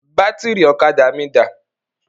Bátìrì ọ̀kadà mí dà?